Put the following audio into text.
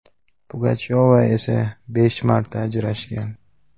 Pugachyova esa besh marta ajrashgan.